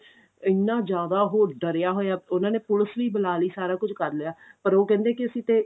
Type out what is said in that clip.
ਇੰਨਾ ਜਿਆਦਾ ਉਹ ਡਰਿਆ ਹੋਇਆ ਉਹਨਾ ਨੇ ਪੁਲਸ ਵੀ ਬੁਲਾਲੀ ਸਾਰਾ ਕੁੱਝ ਕਰ ਲਿਆ ਪਰ ਉਹ ਕਹਿੰਦੇ ਕਿ ਅਸੀਂ ਤੇ